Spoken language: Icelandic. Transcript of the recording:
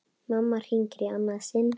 Mamma hringir í annað sinn.